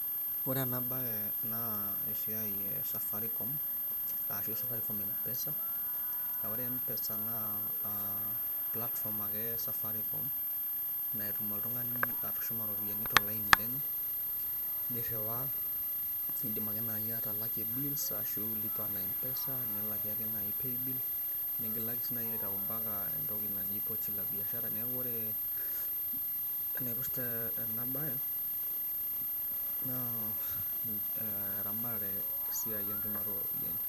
ore ena baye naa esiai e safaricom arashu safaricom mpesa ore mpesa naa platform ake e safaricom naitum oltung'ani atushuma iropiyiani tolaini lenye nirriwaa niidim ake naaji atalakie bills ashu lipa na mpesa nilakie ake naaji paybill nigilaki sii naji aitau mpaka entoki naju pochi la biashara neeku ore enaipirta ena baye naa eramatare esiai enchumata ooropiyiani.